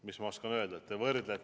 Mis ma oskan öelda?